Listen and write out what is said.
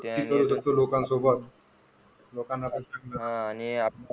लोकांसोबत लोकांना पण, आणि आपण त्या.